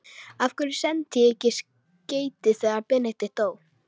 Af hverju sendi ég ekki skeyti þegar Benedikt dó?